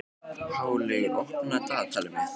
Háleygur, opnaðu dagatalið mitt.